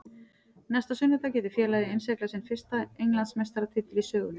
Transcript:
Næsta sunnudag getur félagið innsiglað sinn fyrsta Englandsmeistaratitil í sögunni.